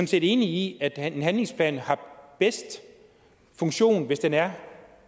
set enige i at en handlingsplan har bedst funktion hvis den er